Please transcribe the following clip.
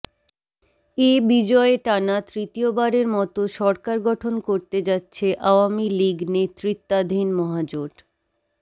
এ বিজয়ে টানা তৃতীয়বারের মতো সরকার গঠন করতে যাচ্ছে আওয়ামী লীগ নেতৃত্বাধীন মহাজোট